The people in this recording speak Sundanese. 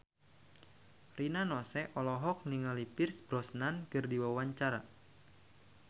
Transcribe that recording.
Rina Nose olohok ningali Pierce Brosnan keur diwawancara